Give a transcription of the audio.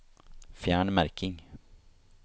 Fjern merking